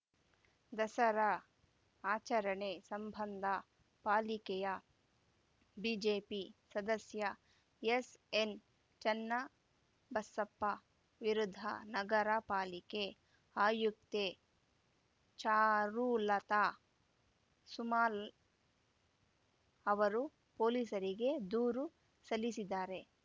ದಸರಾ ಆಚರಣೆ ಸಂಬಂಧ ಪಾಲಿಕೆಯ ಬಿಜೆಪಿ ಸದಸ್ಯ ಎಸ್‌ಎನ್‌ ಚನ್ನಬಸಪ್ಪ ವಿರುದ್ಧ ನಗರ ಪಾಲಿಕೆ ಆಯುಕ್ತೆ ಚಾರುಲತಾ ಸುಮಾಲ್ ಅವರು ಪೊಲೀಸರಿಗೆ ದೂರು ಸಲ್ಲಿಸಿದ್ದಾರೆ